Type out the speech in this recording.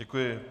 Děkuji.